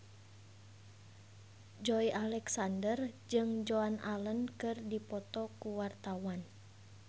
Joey Alexander jeung Joan Allen keur dipoto ku wartawan